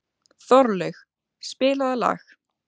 Þorlaug, spilaðu lag.